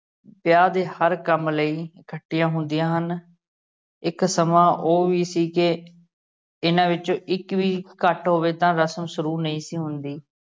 ਵਿਆਹ ਦੇ ਹਰ ਕੰਮ ਲਈ ਇਕੱਠੀਆਂ ਹੁੰਦੀਆਂ ਹਨ ਇੱਕ ਸਮਾਂ ਉਹ ਵੀ ਸੀ ਕੇ ਇਹਨਾਂ ਵਿੱਚੋ ਇੱਕ ਵੀ ਘੱਟ ਹੋਵੇ ਤਾ ਰਸਮ ਸ਼ੁਰੂ ਨਹੀਂ ਸੀ ਹੁੰਦੀ।